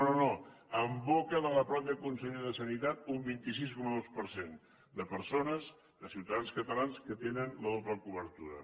no no no en boca de la mateixa consellera de sanitat un vint sis coma dos per cent de persones de ciutadans catalans que tenen la doble cobertura